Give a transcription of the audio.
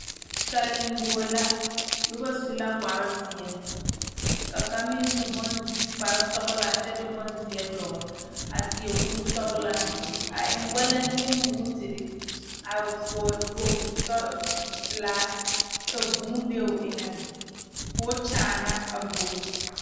Sali bogi la noba su la kpare ziɛ ka kaŋa meŋ su s kpare sɔglaa ka bonziɛ dogle a seɛ kuri sɔglaa a eŋ walante bootere a vɔgle kpoŋlo sɔgla pelaa ka vūū be o eŋa koo kyaana a bogi.